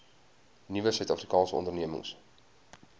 nuwe suidafrikaanse ondernemings